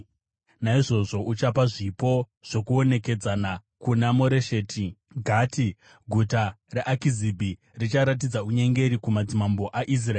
Naizvozvo uchapa zvipo zvokuonekedzana kuna Moresheti Gati. Guta reAkizibhi richaratidza unyengeri kumadzimambo aIsraeri.